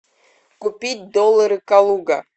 купить доллары калуга